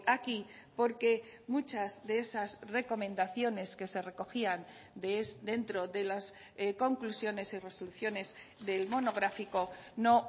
aquí porque muchas de esas recomendaciones que se recogían dentro de las conclusiones y resoluciones del monográfico no